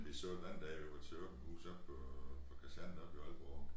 Vi så den anden dag vi var til åbent hus oppe på kasernen deroppe i Aalborg